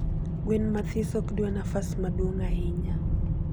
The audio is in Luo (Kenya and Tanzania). gwen mathis okdwa nafas maduong ahinya